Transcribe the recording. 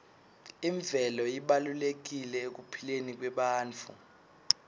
imvelo ibalulekile ekuphileni kwebantfu